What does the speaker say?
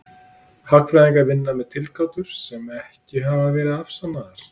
Hagfræðingar vinna með tilgátur sem ekki hafa verið afsannaðar.